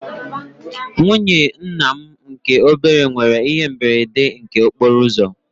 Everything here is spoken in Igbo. Nwụnye ńnà mụ nke obere nwere ihe mberede nke okporouzo